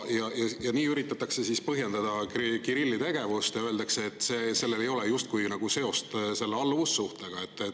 Nii üritatakse põhjendada Kirilli tegevust ja öeldakse, et sellel ei ole justkui seost selle alluvussuhtega.